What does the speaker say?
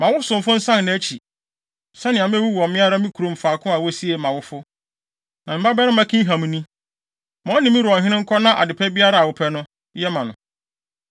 Ma wo somfo nsan nʼakyi, sɛnea mewu wɔ me ara me kurom faako a wosiee mʼawofo. Na me babarima Kimham ni. Ma ɔne me wura ɔhene nkɔ na ade pa biara a wopɛ no, yɛ ma no.”